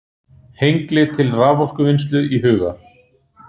Hengli til raforkuvinnslu í huga.